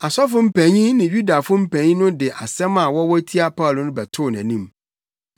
Asɔfo mpanyin ne Yudafo mpanyin no de nsɛm a wɔwɔ tia Paulo no bɛtoo nʼanim.